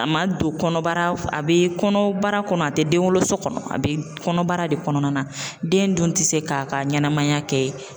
A ma don kɔnɔbara , a bɛ kɔnɔbara de kɔnɔ , a tɛ den wolo so kɔnɔ , a bɛ kɔnɔbara de kɔnɔna na , den dun tɛ se k'a ka ɲɛnamaya kɛ